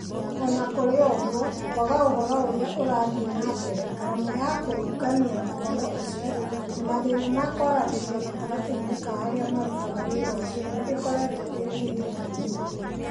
O na kũrĩ ũguo, kwaga ũhoro ũrĩa ũrathiĩ na mbere, ngarama ya kũũngania ũhoro ũcio, na mathĩna ma kwaranĩria gatagatĩ-inĩ ka arĩa marutaga wĩra ũcio, nĩ ikoretwo irĩ mĩhĩnga mĩnene.